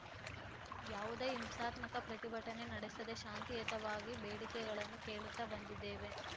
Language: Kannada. ಯಾವುದೇ ಹಿಂಸಾತ್ಮಕ ಪ್ರತಿಭಟನೆ ನಡೆಸದೇ ಶಾಂತಿಯುತವಾಗಿ ಬೇಡಿಕೆಗಳನ್ನು ಕೇಳುತ್ತಾ ಬಂದಿದ್ದೇವೆ